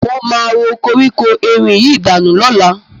Mo máa ro koríko erin yìí danù lọ́la.